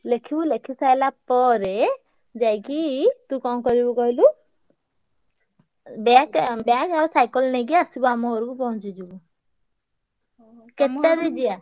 ଲେଖିବୁ ଲେଖି ସାଇଲା ପରେ ଯାଇକି ତୁ କଣ କରିବୁ କହିଲୁ ବ୍ୟାକ bag ଆଉ cycle ନେଇକି ଆସିବୁ ଆମ ଘରୁକୁ ପହଁଞ୍ଚିଯିବୁ। କେତେଟାରେ ଯିବା?